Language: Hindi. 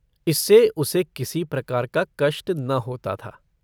इससे उसे किसी प्रकार का कष्ट न होता था।